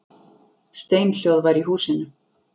Steinhljóð var í húsinu.